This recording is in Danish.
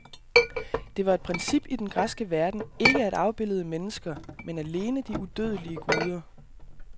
Det var et princip i den græske verden ikke at afbilde mennesker, men alene de udødelige guder.